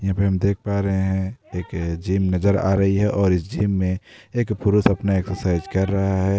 यहां पे हम देख पा रहे है एक जिम नजर आ रही है और इस जिम में एक पुरुष अपना एक्सरसाइज कर रहा है।